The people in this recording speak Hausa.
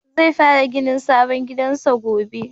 Zai fara ginin sabon gidansa gobe.